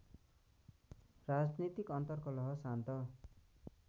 राजनीतिक अन्तरकलह शान्त